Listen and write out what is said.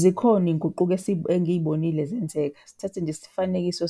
Zikhona iy'nguquko engiy'bonile zenzeka. Sithathe nje isifanekiso